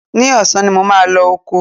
Ní ọ̀sán ni mo máa lọ oko